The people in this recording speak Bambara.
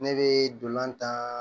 Ne bɛ dolantan